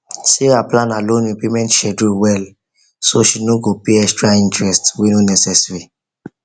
sarah plan her loan repayment schedule well so she no go pay extra interest wey no necessary